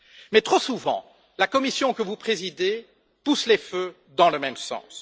Mais trop souvent, la Commission que vous présidez pousse les feux dans le même sens.